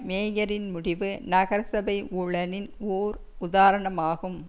மேயரின் முடிவு நகரசபை ஊழலின் ஓர் உதாரணமாகும்